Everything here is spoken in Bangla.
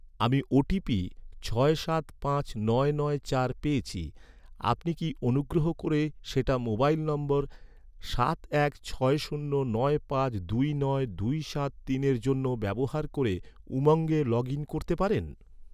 আমি ওটিপি ছয় সাত পাঁচ নয় নয় চার পেয়েছি, আপনি কি অনুগ্রহ করে সেটা মোবাইল নম্বর সাত এক ছয় শূন্য নয় পাঁচ দুই নয় দুই সাত তিনের জন্য ব্যবহার করে উমঙ্গে লগ ইন করতে পারেন?